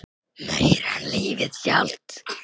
Meira en lífið sjálft.